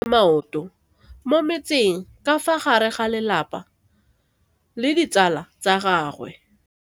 Mme o namile maoto mo mmetseng ka fa gare ga lelapa le ditsala tsa gagwe.